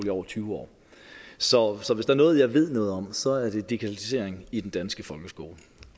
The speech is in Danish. i over tyve år så så hvis der er noget jeg ved noget om så er det digitalisering i den danske folkeskole